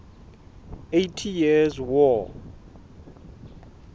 eighty years war